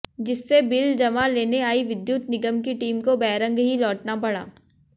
जिससे बिल जमा लेने आई विद्युत निगम की टीम को बैरंग ही लौटना पड़ा